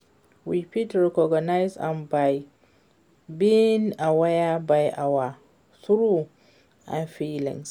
We fit recognize am by being aware of our thoughts and feelings.